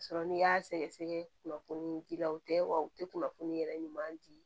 Sɔrɔ n'i y'a sɛgɛsɛgɛ kunnafoni ji la o tɛ wa u tɛ kunnafoni yɛrɛ ɲuman di